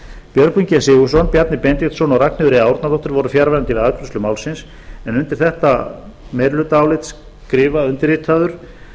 björgvin g sigurðsson bjarni benediktsson og ragnheiður e árnadóttir voru fjarverandi við afgreiðslu málsins undir þetta meirihlutaálit skrifa undirritaður